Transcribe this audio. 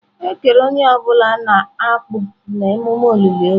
Ekere onye ọ bụla na akpu na emume olili ozu.